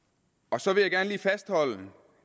så vil jeg gerne lige fastholde